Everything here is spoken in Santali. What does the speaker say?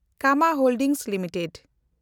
Kama holding limited